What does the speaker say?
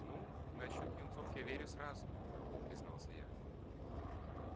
ну насчёт юнцов я верю сразу призналась я